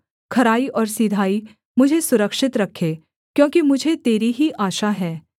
खराई और सिधाई मुझे सुरक्षित रखे क्योंकि मुझे तेरी ही आशा है